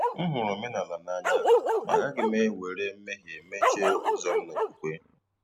M hụrụ omenala n’anya, ma agaghị m ewere mmehie mechie ụzọ m n’okwukwe.